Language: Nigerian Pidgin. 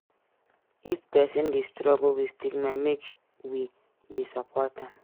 If pesin dey struggle wit stigma make we dey support am